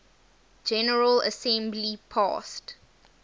general assembly passed